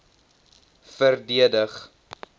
verdedig